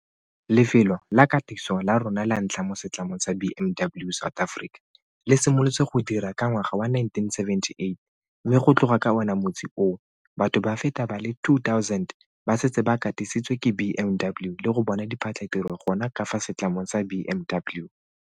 Lefelo la katiso la rona la ntlha mo setlamong sa BMW South Africa le simolotse go dira ka ngwaga wa 1978 mme go tloga ka ona motsi oo, batho ba feta ba le 2 000 ba setse ba katisitswe ke BMW le go bona diphatlhatiro gona ka fa setlamong sa BMW.